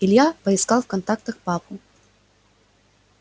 илья поискал в контактах папу